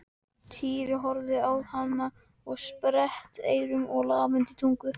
Týri horfði á hana með sperrt eyru og lafandi tungu.